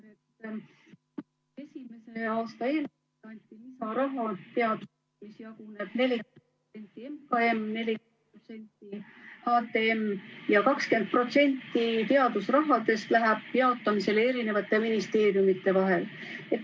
2021. aasta eelarves anti teadusele lisaraha, mis jaguneb nii: 40% MKM, 40% HTM ja 20% teadusrahast läheb jaotamisele eri ministeeriumide vahel.